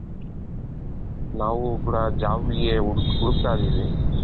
ನಾವು ಕೂಡ jobಗೆ ಹುಡುಕ್ತಾ ಇದ್ದೀವಿ.